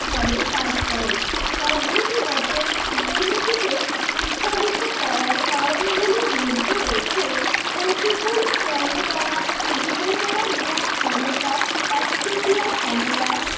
ভাবে কাজ করেন পদ্ধতিগত দুর্নীতিকে উৎসাহিত করার কারণগুলির মধ্যে রয়েছে প্রতিকূল প্রণোদনা বিবেচনা মূলক ক্ষমতা একচেটিয়া ক্ষমতা